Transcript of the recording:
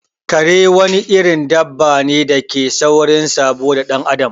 Kare wani irin dabane dake da saurin sabo da dan adam